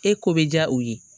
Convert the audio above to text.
E ko bɛ diya u ye